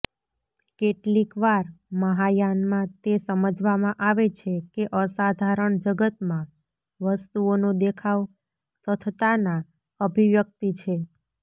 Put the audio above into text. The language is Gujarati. કેટલીકવાર મહાયાનમાં તે સમજવામાં આવે છે કે અસાધારણ જગતમાં વસ્તુઓનો દેખાવ તથતાના અભિવ્યક્તિ છે